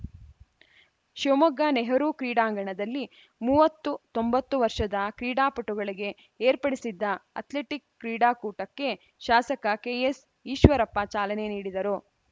ಶಿವಮೊಗ್ಗ ನೆಹರೂ ಕ್ರೀಡಾಂಗಣದಲ್ಲಿ ಮೂವತ್ತು ತೊಂಬತ್ತು ವರ್ಷದ ಕ್ರೀಡಾಪಟುಗಳಿಗೆ ಏರ್ಪಡಿಸಿದ್ದ ಅಥ್ಲೆಟಿಕ್‌ ಕ್ರೀಡಾಕೂಟಕ್ಕೆ ಶಾಸಕ ಕೆಎಸ್‌ ಈಶ್ವರಪ್ಪ ಚಾಲನೆ ನೀಡಿದರು